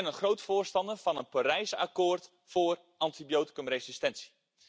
Ik ben een groot voorstander van een Parijs akkoord voor antibioticumresistentie.